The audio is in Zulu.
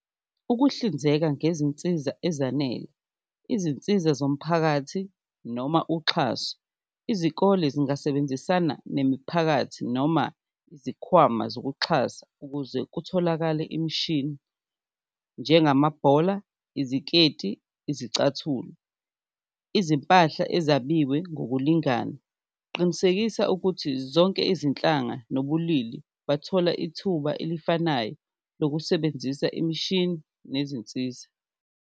Ukuhlinzeka ngezinsiza ezanele, izinsiza zomphakathi noma uxhaso, izikole zingasebenzisana nemiphakathi noma izikhwama zokuxhasa ukuze kutholakale imishini njengamabhola, iziketi, izicathulo, izimpahla ezabiwe ngokulingana. Qinisekisa ukuthi zonke izinhlanga nobulili bathola ithuba elifanayo lokusebenzisa imishini nezinsiza.